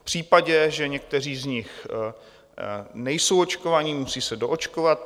V případě, že někteří z nich nejsou očkovaní, musí se doočkovat.